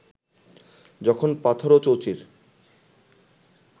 যখন পাথরও চৌচির